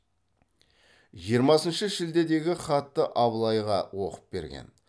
жиырмасыншы шілдедегі хатты абылайға оқып берген